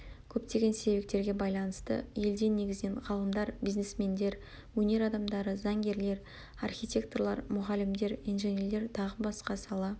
көптеген себептерге байланысты елден негізінен ғалымдар бизнесмендер өнер адамдары заңгерлер архитекторлар мұғалімдер инженерлер тағы басқа сала